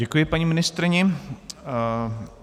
Děkuji paní ministryni.